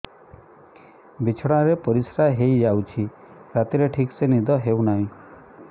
ବିଛଣା ରେ ପରିଶ୍ରା ହେଇ ଯାଉଛି ରାତିରେ ଠିକ ସେ ନିଦ ହେଉନାହିଁ